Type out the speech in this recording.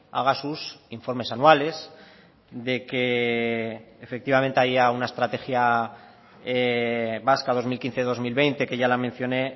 haga sus informes anuales de que efectivamente haya una estrategia vasca dos mil quince dos mil veinte que ya la mencioné